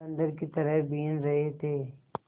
बंदर की तरह बीन रहे थे